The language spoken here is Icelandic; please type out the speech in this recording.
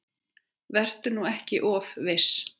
Vertu nú ekki of viss.